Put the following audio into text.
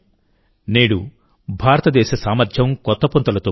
నేడుభారతదేశ సామర్థ్యం కొత్త పుంతలు తొక్కుతోంది